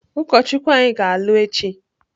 Ụkọchukwu anyị ga-alụ echi.